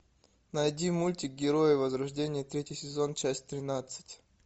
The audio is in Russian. найди мультик герои возрождение третий сезон часть тринадцать